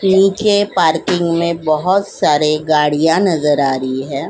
नीचे पार्किंग में बहुत सारे गाड़ियां नजर आ रही है।